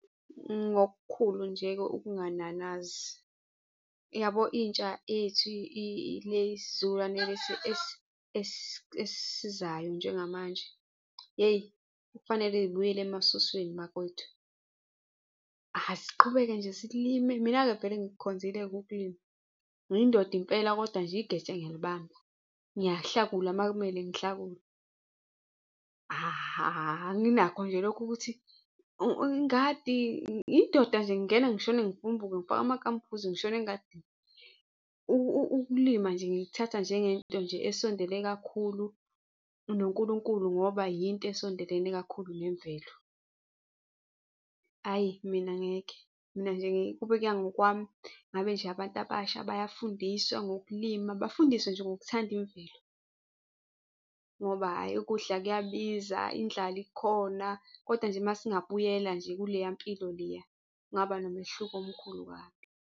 Ngokukhulu nje ukungananazi, yabo intsha yethu le isizukulwane lesi esizayo njengamanje, yeyi kufanele zibuyele emasusweni bakwetu. Asiqhubeke nje silime, mina-ke vele ngikukhonzile-ke ukulima. Ngiyindoda impela, kodwa nje igeja ngiyalibamba. Ngiyahlakula uma kumele ngihlakule. Anginakho nje lokho ukuthi ingadi, ngiyindoda nje ngingena ngishone ngivumbuke, ngifake amagambhuzi ngishone engadini. Ukulima nje ngikuthatha njengento nje esondele kakhulu noNkulunkulu ngoba yinto esondelene kakhulu nemvelo. Ayi, mina ngeke mina nje kube kuya ngokwami ngabe nje abantu abasha bayafundiswa ngokulima, bafundiswe nje ngokuthanda imvelo ngoba hhayi, ukudla kuyabiza, indlala ikhona. Kodwa nje uma singabuyela nje kuleya mpilo leya, kungaba nomehluko omkhulu kabi.